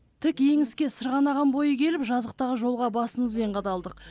тік еңіске сырғанаған бойы келіп жазықтағы жолға басымызбен қадалдық